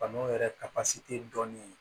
Banaw yɛrɛ ka dɔɔnin ye